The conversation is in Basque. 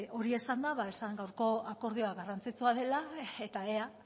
hori esanda esan gaurko akordioa garrantzitsua dela eta ea